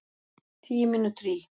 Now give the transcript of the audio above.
Tíu mínútur í